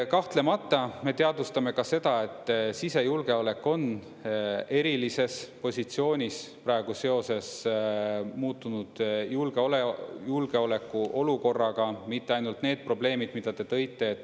Kahtlemata me teadvustame ka seda, et sisejulgeolek on erilises positsioonis praegu seoses muutunud julgeolekuolukorraga, mitte ainult need probleemid, mida te tõite.